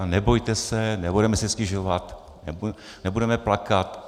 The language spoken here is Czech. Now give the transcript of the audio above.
A nebojte se, nebudeme si stěžovat, nebudeme plakat.